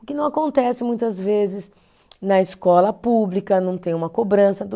O que não acontece muitas vezes na escola pública, não tem uma cobrança